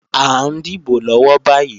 À ń dìbò lọ́wọ́ báyì